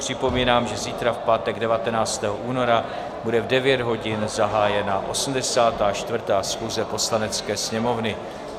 Připomínám, že zítra, v pátek 19. února, bude v 9 hodin zahájena 84. schůze Poslanecké sněmovny.